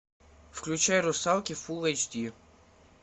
включай русалки фул эйч ди